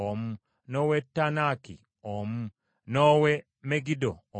n’ow’e Taanaki omu, n’ow’e Megiddo omu,